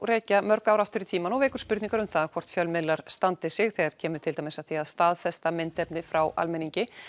rekja má mörg ár aftur í tímann og vekur spurningar um það hvort fjölmiðlar standi sig þegar kemur að því að staðfesta myndefni frá almenningi